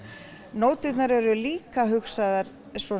nóturnar eru líka hugsaðar